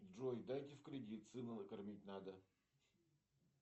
джой дайте в кредит сына накормить надо